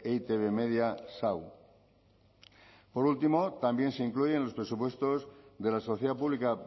e i te be media sau por último también se incluye en los presupuestos de la sociedad pública